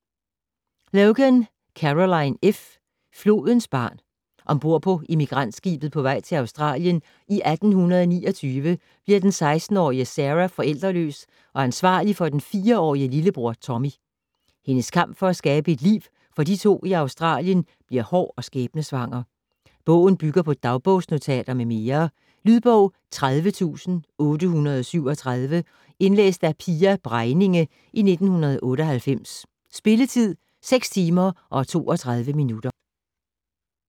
Logan, Carolyn F.: Flodens barn Om bord på emigrantskibet på vej til Australien i 1829 bliver den 16-årige Sarah forældreløs og ansvarlig for den 4-årige lillebror, Tommy. Hendes kamp for at skabe et liv for de to i Australien bliver hård og skæbnesvanger. Bogen bygger på dagsbogsnotater m.m. Lydbog 30837 Indlæst af Pia Bregninge, 1998. Spilletid: 6 timer, 32 minutter.